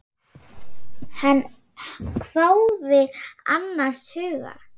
Hann hváði annars hugar.